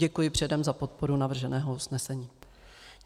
Děkuji předem za podporu navrženého usnesení.